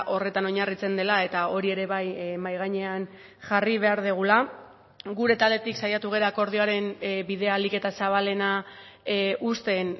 horretan oinarritzen dela eta hori ere bai mahai gainean jarri behar dugula gure taldetik saiatu gara akordioaren bidea ahalik eta zabalena uzten